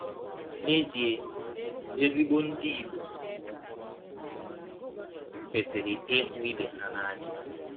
N’ezie, ezigbo Ndị Igbọ kwesịrị ịhụ ibe ha n’anya.